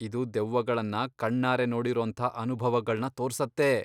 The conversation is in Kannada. ಇದು ದೆವ್ವಗಳನ್ನ ಕಣ್ಣಾರೆ ನೋಡಿರೋಂಥ ಅನುಭವಗಳ್ನ ತೋರ್ಸತ್ತೆ.